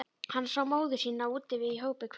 Hann sá móður sína úti við í hópi kvenna.